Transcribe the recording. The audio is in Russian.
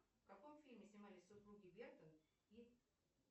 в каком фильме снимались супруги бертон и